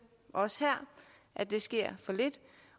også her at det sker for lidt